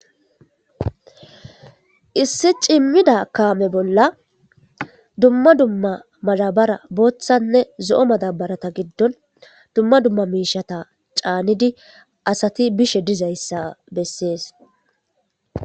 Issi cimmida kaame bolla dumma dumma madabara booththanne zo'o madabarata giddon dumma dumma miishata caanidi asati bishe dizayssa bessees.